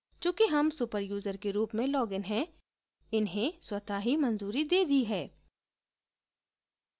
चूंकि हम super user के रूप में लॉगिन है इन्हें स्वत: ही मंजूरी दे दी है